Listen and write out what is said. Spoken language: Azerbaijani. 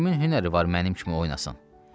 Kimin hünəri var mənim kimi oynasın.